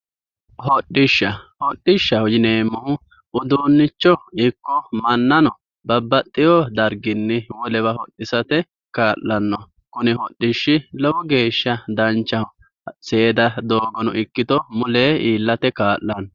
Hodishsha, hodishshaho yineemmohu uduunicho ikko mannano babbaxewo darginni wolewa hodhisate kaa'lano, kuni hodishshi lowo geeshsha danchaho seeda doogono ikkitto mulenni iillate kaa'lano.